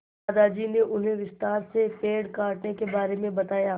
दादाजी ने उन्हें विस्तार से पेड़ काटने के बारे में बताया